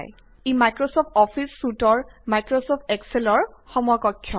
ই Microsoft office চুইটৰ Microsoft এক্সেলৰ সমকক্ষ